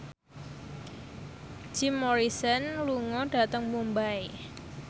Jim Morrison lunga dhateng Mumbai